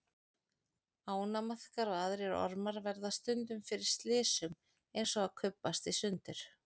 Ánamaðkar og aðrir ormar verða stundum fyrir slysum eins og að kubbast í sundur.